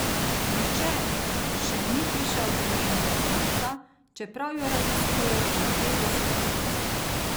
Nihče še ni prišel do njenega konca, čeprav jo raziskujejo že petdeset let.